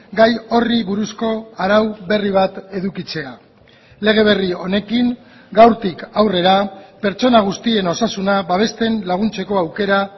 gai horri buruzko arau berri bat edukitzea lege berri honekin gaurtik aurrera pertsona guztien osasuna babesten laguntzeko aukera